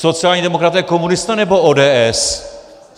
Sociální demokraté, komunisté, nebo ODS?